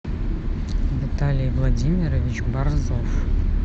виталий владимирович борзов